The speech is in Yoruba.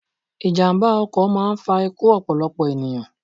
Ìjàmba ọkọ̀ máà ń fa ikú ọ̀pọ̀lọpọ̀ ènìyàn